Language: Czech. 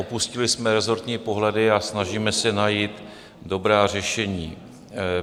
Opustili jsme resortní pohledy a snažíme se najít dobrá řešení.